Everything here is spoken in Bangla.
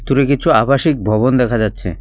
দূরে কিছু আবাসিক ভবন দেখা যাচ্ছে।